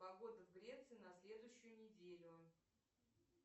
погода в греции на следующую неделю